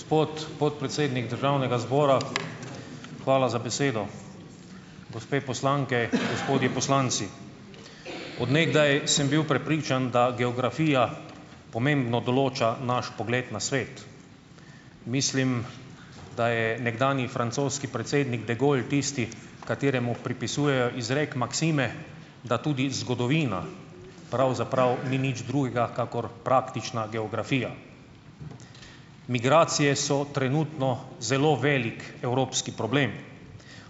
Gospod podpredsednik državnega zbora, hvala za besedo. Gospe poslanke, gospodje poslanci! Od nekdaj sem bil prepričan, da geografija pomembno določa naš pogled na svet. Mislim, da je nekdanji francoski predsednik de Gaulle tisti, kateremu pripisujejo izrek maksime, da tudi zgodovina pravzaprav ni nič drugega kakor praktična geografija. Migracije so trenutno zelo velik evropski problem.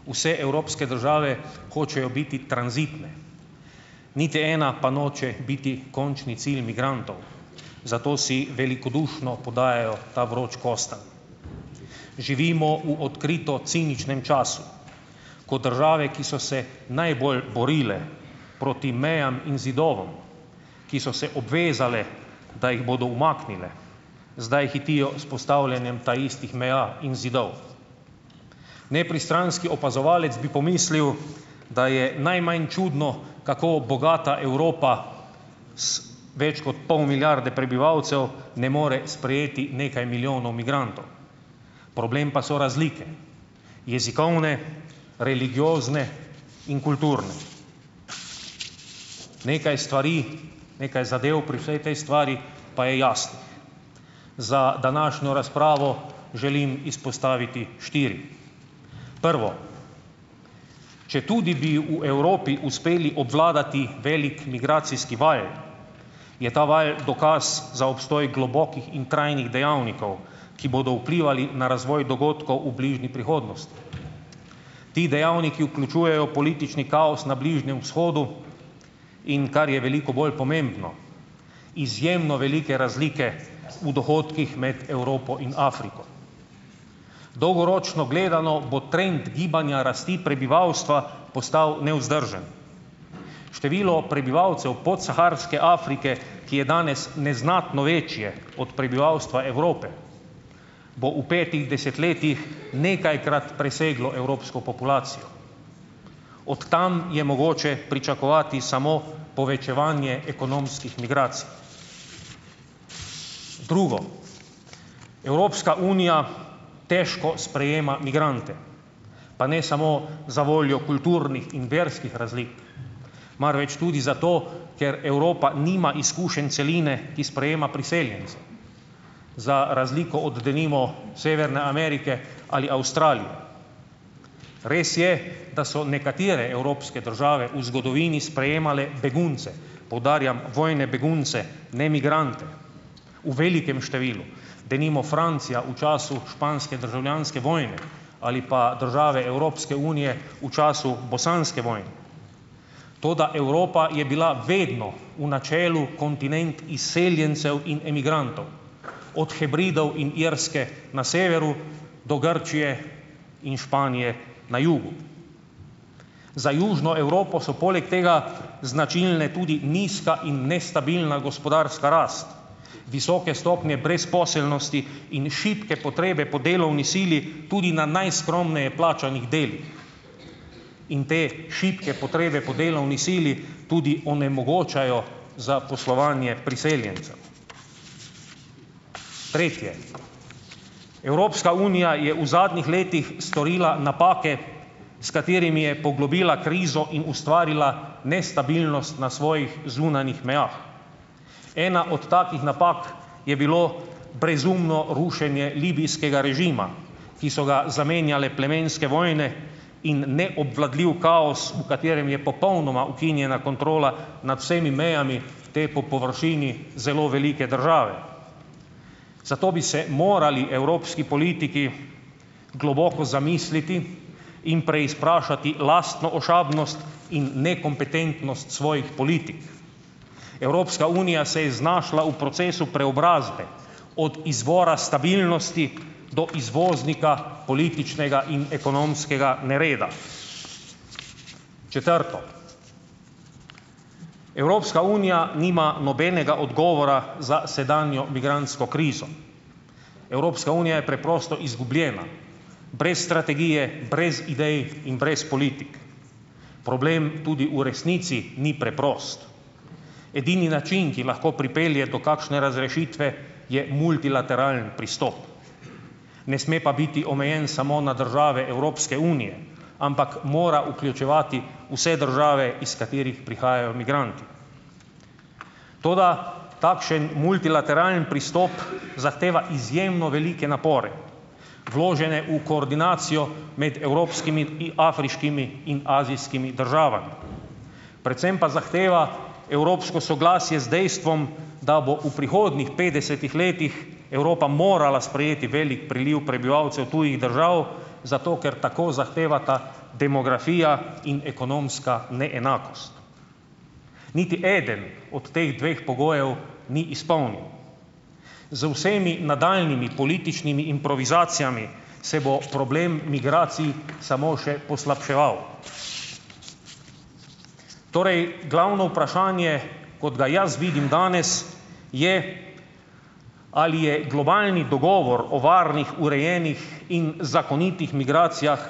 Vse evropske države hočejo biti tranzitne. Niti ena pa noče biti končni cilj migrantov, zato si velikodušno podajajo ta vroči kostanj. Živimo v odkrito ciničnem času, ko države, ki so se najbolj borile proti mejam in zidovom, ki so se obvezale, da jih bodo umaknile, zdaj hitijo s postavljanjem taistih meja in zidov. Nepristranski opazovalec bi pomislil, da je najmanj čudno, kako bogata Evropa z več kot pol milijarde prebivalcev ne more sprejeti nekaj milijonov migrantov. Problem pa so razlike: jezikovne, religiozne in kulturne. Nekaj stvari, nekaj zadeve pri vsaj tej stvari pa je jasno. Za današnjo razpravo želim izpostaviti štiri. Prvo, četudi bi v Evropi uspeli obvladati velik migracijski val, je ta val dokaz za obstoj globokih in trajnih dejavnikov, ki bodo vplivali na razvoj dogodkov v bližnji prihodnosti. Ti dejavniki vključujejo politični kaos na Bližnjem vzhodu, in kar je veliko bolj pomembno, izjemno velike razlike v dohodkih med Evropo in Afriko. Dolgoročno gledano bo trend gibanja rasti prebivalstva postal nevzdržen. Število prebivalcev podsaharske Afrike, ki je danes neznatno večje od prebivalstva Evrope, bo v petih desetletjih nekajkrat preseglo evropsko populacijo. Od tam je mogoče pričakovati samo povečevanje ekonomskih migracij. Drugo, Evropska unija težko sprejema migrante, pa ne samo zavoljo kulturnih in verskih razlik, marveč tudi zato, ker Evropa nima izkušenj celine, ki sprejema priseljence, za razliko od, denimo, Severne Amerike ali Avstralije. Res je, da so nekatere evropske države v zgodovini sprejemale begunce, poudarjam vojne begunce, ne migrante, v velikem številu, denimo Francija v času španske državljanske vojne ali pa države Evropske unije v času bosanske vojne. Toda Evropa je bila vedno v načelu kontinent izseljencev in emigrantov, od Hebridov in Irske na severu do Grčije in Španije na jugu. Za južno Evropo so poleg tega značilne tudi nizka in nestabilna gospodarska rast, visoke stopnje brezposelnosti in šibke potrebe po delovni sili, tudi na najskromneje plačanih delih. In te šibke potrebe po delovni sili tudi onemogočajo zaposlovanje priseljencev. Tretje, Evropska unija je v zadnjih letih storila napake, s katerimi je poglobila krizo in ustvarila nestabilnost na svojih zunanjih mejah. Ena od takih napak je bilo brezumno rušenje libijskega režima, ki so ga zamenjale plemenske vojne in neobvladljiv kaos, v katerem je popolnoma ukinjena kontrola nad vsemi mejami te, po površini, zelo velike države. Zato bi se morali evropski politiki globoko zamisliti in preizprašati lastno ošabnost in nekompetentnost svojih politik. Evropska unija se je znašla v procesu preobrazbe od izvora stabilnosti do izvoznika političnega in ekonomskega nereda. Četrto, Evropska unija nima nobenega odgovora za sedanjo migrantsko krizo. Evropska unija je preprosto izgubljena, brez strategije, brez idej in brez politik. Problem tudi v resnici ni preprost. Edini način, ki lahko pripelje do kakšne razrešitve, je multilateralni pristop, ne sme pa biti omejen samo na države Evropske unije, ampak mora vključevati vse države, iz katerih prihajajo migranti. Toda takšen multilateralni pristop zahteva izjemno velike napore, vložene v koordinacijo med evropskimi in afriškimi in azijskimi državami. Predvsem pa zahteva evropsko soglasje z dejstvom, da bo v prihodnjih petdesetih letih Evropa morala sprejeti velik priliv prebivalcev tujih držav, zato ker tako zahtevata demografija in ekonomska neenakost. Niti eden od teh dveh pogojev ni izpolnjen. Z vsemi nadaljnjimi političnimi improvizacijami se bo problem migracij samo še poslabševal. Torej, glavno vprašanje, kot ga jaz vidim danes, je: Ali je globalni dogovor o varnih, urejenih in zakonitih migracijah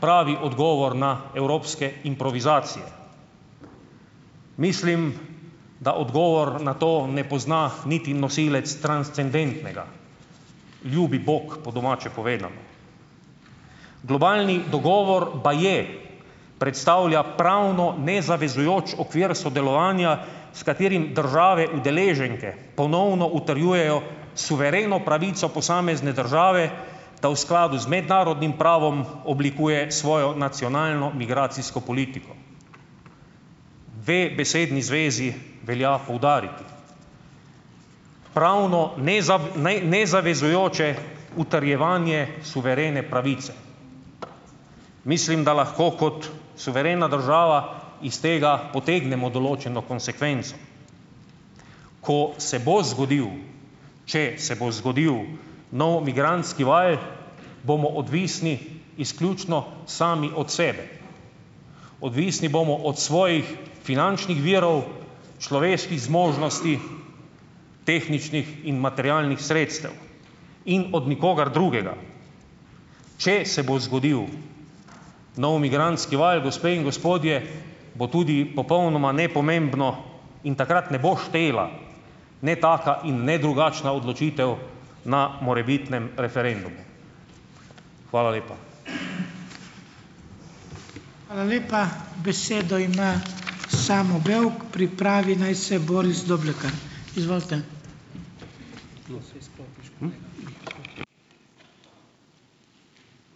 pravi odgovor na evropske improvizacije? Mislim, da odgovor na to ne pozna niti nosilec transcendentnega - ljubi bog po domače povedano. Globalni dogovor baje predstavlja pravno nezavezujoč okvir sodelovanja, s katerim države udeleženke ponovno utrjujejo suvereno pravico posamezne države, da v skladu z mednarodnim pravom oblikuje svojo nacionalno migracijsko politiko. Dve besedni zvezi velja poudariti: pravno nezavezujoče, utrjevanje suverene pravice. Mislim, da lahko kot suverena država iz tega potegnemo določeno konsekvenco. Ko se bo zgodil, če se bo zgodil nov migrantski val, bomo odvisni izključno sami od sebe. Odvisni bomo od svojih finančnih virov, človeških zmožnosti, tehničnih in materialnih sredstev in od nikogar drugega. Če se bo zgodil nov migrantski val, gospe in gospodje, bo tudi popolnoma nepomembno in takrat ne bo štela ne taka in ne drugačna odločitev na morebitnem referendumu. Hvala lepa.